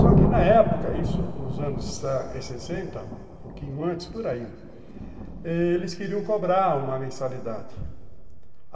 Só que na época, isso nos anos sessenta, um pouquinho antes, por aí, eles queriam cobrar uma mensalidade.